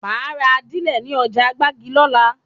Máa ra ajílẹ̀ ní ọjà gbági lola